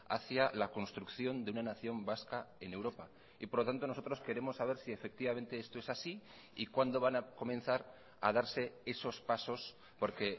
hacia la construcción de una nación vasca en europa y por lo tanto nosotros queremos saber si efectivamente esto es así y cuándo van a comenzar a darse esos pasos porque